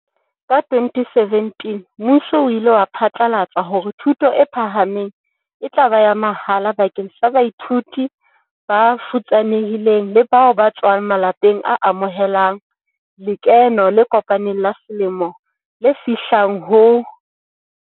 Ka 2017 mmuso o ile wa phatlalatsa hore thuto e phahameng e tla ba ya mahala bakeng sa baithuti ba futsane hileng le bao ba tswang ma lapeng a amohelang lekeno le kopaneng la selemo le fihlang ho.